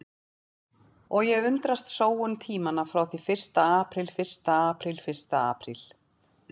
Og ég undrast sóun tímanna frá því fyrsta apríl fyrsta apríl fyrsta apríl.